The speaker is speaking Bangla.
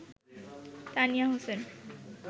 তানিয়া হোসেন